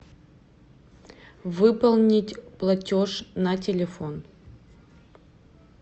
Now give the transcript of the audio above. выполнить платеж на телефон